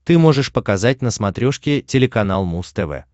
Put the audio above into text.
ты можешь показать на смотрешке телеканал муз тв